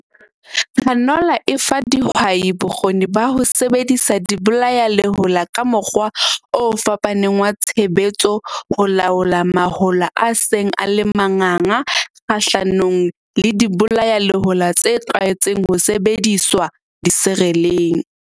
Canola e fa dihwai bokgoni ba ho sebedisa dibolayalehola ka mokgwa o fapaneng wa tshebetso ho laola mahola a seng a le manganga kgahlanong le dibolayalehola tse tlwaetseng ho sebediswa disereleng.